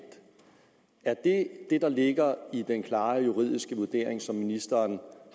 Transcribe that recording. er det det der ligger i den klare juridiske vurdering som ministeren